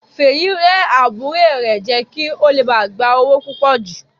Fìyìn rẹ́ àbúrò rẹ̀ jẹ kí ó le gba owó púpò jù.